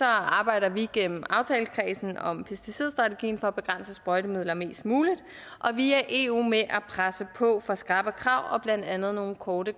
arbejder vi gennem aftalekredsen om pesticidstrategien for at begrænse sprøjtemidler mest muligt og via eu med at presse på for skrappere krav og blandt andet nogle korte